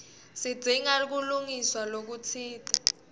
sidzinga kulungiswa lokutsite